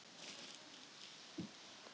Mig minnir að mamma hafi keypt þau í Grikklandi.